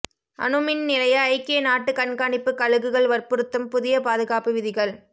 அணுமின் நிலைய ஐக்கிய நாட்டுக் கண்காணிப்புக் கழுகுகள் வற்புறுத்தும் புதிய பாதுகாப்பு விதிகள்